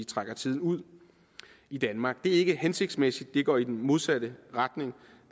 trække tiden ud i danmark det er ikke hensigtsmæssigt det går i den modsatte retning